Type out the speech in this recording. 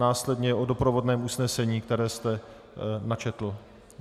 Následně o doprovodném usnesení, které jste načetl.